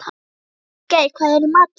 Sigurgeir, hvað er í matinn?